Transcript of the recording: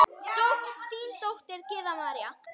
Þín dóttir, Gyða María.